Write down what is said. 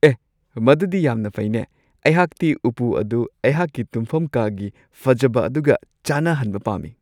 ꯑꯦ ꯃꯗꯨꯗꯤ ꯌꯥꯝꯅ ꯐꯩꯅꯦ ! ꯑꯩꯍꯥꯛꯇꯤ ꯎꯄꯨ ꯑꯗꯨ ꯑꯩꯍꯥꯛꯀꯤ ꯇꯨꯝꯐꯝ ꯀꯥꯒꯤ ꯐꯖꯕ ꯑꯗꯨꯒ ꯆꯥꯟꯅꯍꯟꯕ ꯄꯥꯝꯃꯤ ꯫